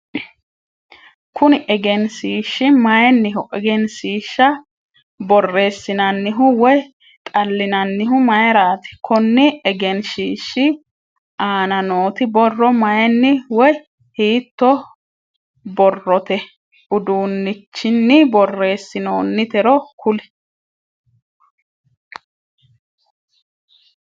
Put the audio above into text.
Kunni egenshiishi mayinniho? Egenshiisha boreesinnannihu woyi xalinnannihu mayiraati? Konni egenshiishi aanna nooti borro mayinni woyi hiittoo borrote uduunichinni boreesinoonnitero kuli?